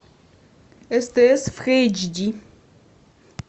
стс в эйч ди